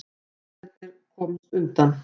Árásarmennirnir komust undan